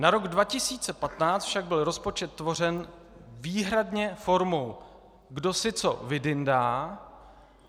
Na rok 2015 však byl rozpočet tvořen výhradně formou, kdo si co vydyndá...